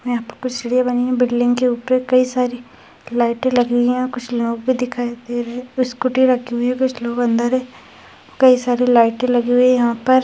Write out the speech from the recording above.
यहाँ पर कुछ सीढ़ियाँ बनी है बिल्डिंग के ऊपर कई सारी लाइटे लगी हुई है कुछ लोग भी दिखाई दे रहे स्कूटी रखी हुई है कुछ लोग अंदर है कई सारे लाइटे लगी हुई यहाँ पर।